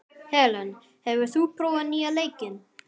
Helen, hefur þú prófað nýja leikinn?